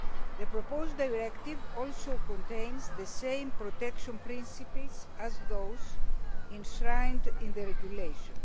The proposed directive also contains the same protection principles as those enshrined in the Regulation.